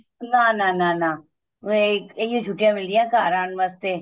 ਨਾ ਨਾ ਨਾ ਨਾ ਇਹੀ ਓ ਛੁੱਟੀਆਂ ਮਿਲਦੀਆਂ ਘਰ ਆਣ ਵਾਸਤੇ